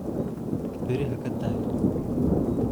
Berri haka daahin